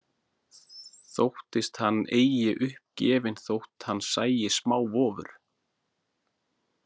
Þóttist hann eigi upp gefinn þótt hann sæi smávofur.